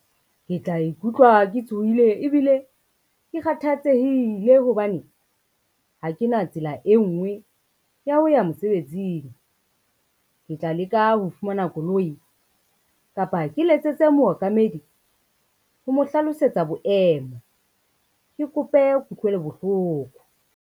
Ke tla ikutlwa ke tshohile ebile ke kgathatsehile hobane, ha ke na tsela e ngwe ya ho ya mosebetsing. Ke tla leka ho fumana koloi kapa ke letsetse mookamedi ho mo hlalosetsa boemo, ke kope kutlwelo bohloko.